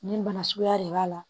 Nin bana suguya de b'a la